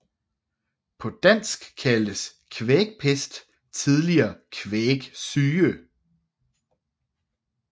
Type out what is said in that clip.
På dansk kaldtes kvægpest tidligere kvægsyge